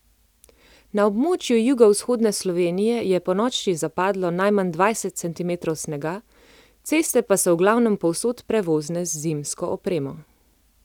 Na območju jugovzhodne Slovenije je ponoči zapadlo najmanj dvajset centimetrov snega, ceste pa so v glavnem povsod prevozne z zimsko opremo.